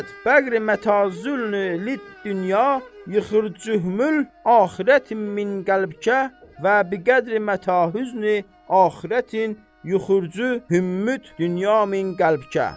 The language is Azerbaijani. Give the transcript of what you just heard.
Bağri mətaz dünyə yuxur cühül axirət min qəlbkə və biqədri mətahüznü axirətin yuxurcu hümmət dünya min qəlbkə.